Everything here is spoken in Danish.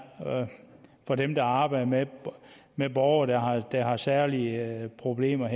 for dem der arbejder med med borgere der har særlige problemer